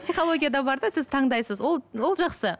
психологияда бар да сіз таңдайсыз ол ол жақсы